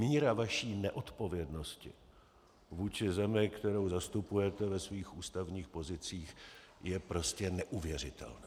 Míra vaší neodpovědnosti vůči zemi, kterou zastupujete ve svých ústavních pozicích, je prostě neuvěřitelná.